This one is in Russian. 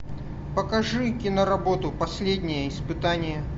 покажи киноработу последнее испытание